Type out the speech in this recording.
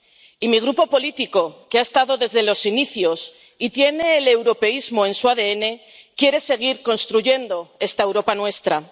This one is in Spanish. Y mi grupo político, que ha estado desde los inicios y tiene el europeísmo en su ADN, quiere seguir construyendo esta Europa nuestra.